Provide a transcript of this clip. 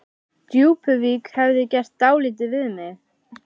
Djúpuvík hefði gert dálítið við mig.